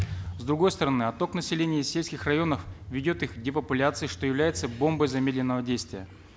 с другой стороны отток населения из сельских районов ведет их к депопуляции что является бомбой замедленного действия